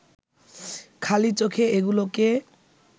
খালি চোখে এগুলোকে